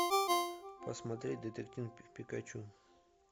посмотреть детектив пикачу